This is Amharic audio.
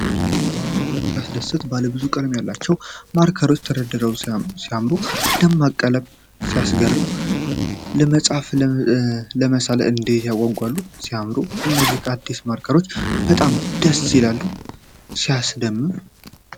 ዋው! ሲያስደስት! ባለ ብዙ ቀለም ያላቸው ማርከሮች ተደርድረው ሲያምሩ! ደማቅ ቀለማት ሲያስገርም! ለመጻፍና ለመሳል እንዴት ያጓጓሉ! ሲያምሩ! እነዚህ አዲስ ማርከሮች በጣም ደስ ይላሉ። ሲያስደምም!